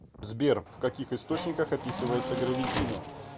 сбер в каких источниках описывается гравитино